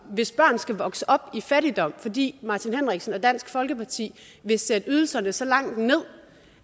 hvis børn skal vokse op i fattigdom fordi martin henriksen og dansk folkeparti vil sætte ydelserne så langt ned